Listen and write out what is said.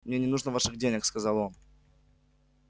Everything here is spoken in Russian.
мне не нужно ваших денег сказал он